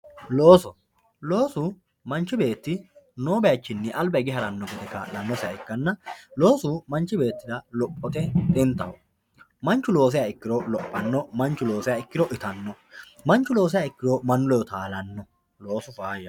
looso loosu manchi beeti noo baychinni alba hige haranno gede kaa'lannosiha ikkanna loosu manchi beettira lophote xintaho manchu loosiha ikkiro lophann manchu loosiha ikkiro itanno manchu loosiha ikkiro duroo'manno mannu ledo taalanno loosu fayyaho